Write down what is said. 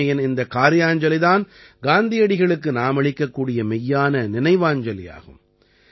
தூய்மையின் இந்த கார்யாஞ்சலி தான் காந்தியடிகளுக்கு நாமளிக்கக் கூடிய மெய்யான நினைவாஞ்சலியாகும்